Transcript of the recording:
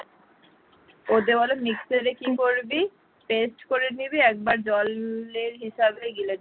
ওর দেওয়ার mixer এ কি করবি paste করে নিবি একবার জল জলের হিসাবে গিলে নিবি।